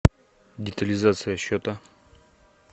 детализация счета